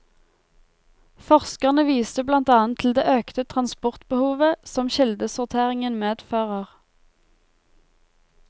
Forskerne viste blant annet til det økte transportbehovet som kildesorteringen medfører.